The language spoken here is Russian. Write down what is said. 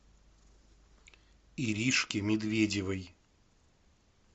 иришке медведевой